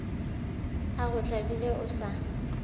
o go tlabile o sa